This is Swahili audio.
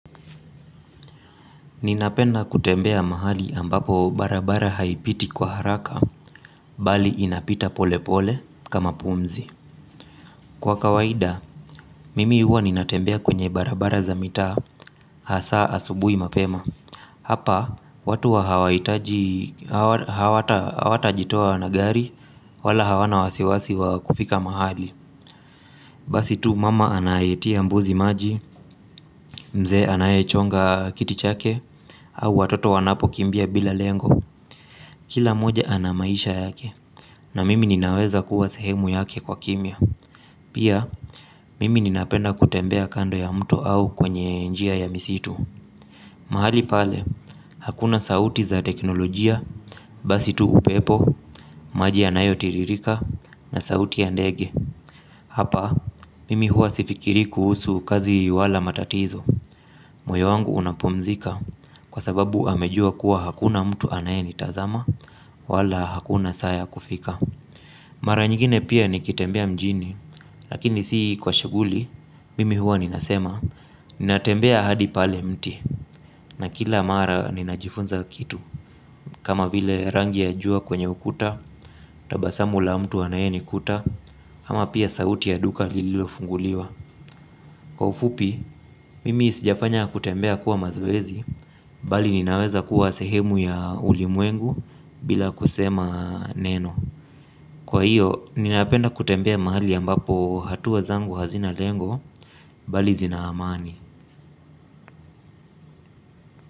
Ninapenda kutembea mahali ambapo barabara haipiti kwa haraka, bali inapita pole pole kama pumzi. Kwa kawaida, mimi huwa ninatembea kwenye barabara za mitaa hasa asubuhi mapema. Hapa, watu hawahitaji, hawatajitoa na gari, wala hawana wasiwasi wa kufika mahali. Basi tu mama anayetia mbuzi maji, mzee anayechonga kiti chake, au watoto wanapo kimbia bila lengo. Kila moja ana maisha yake na mimi ninaweza kuwa sehemu yake kwa kimya. Pia mimi ninapenda kutembea kando ya mto au kwenye njia ya misitu. Mahali pale hakuna sauti za teknolojia, basi tu upepo, maji yanayotiririka na sauti ya ndege. Hapa mimi huwa sifikirii kuhusu kazi wala matatizo. Moyo wangu unapumzika kwa sababu amejua kuwa hakuna mtu anayenitazama wala hakuna saa ya kufika. Mara nyingine pia nikitembea mjini lakini si kwa shughuli mimi huwa ninasema. Ninatembea hadi pale mti na kila mara ninajifunza kitu. Kama vile rangi ya jua kwenye ukuta tabasamu la mtu anayenikuta ama pia sauti ya duka lililo funguliwa. Kwa ufupi, mimi sijafanya kutembea kuwa mazoezi bali ninaweza kuwa sehemu ya ulimwengu bila kusema neno. Kwa hio, ninapenda kutembea mahali ambapo hatua zangu hazina lengo bali zina amani.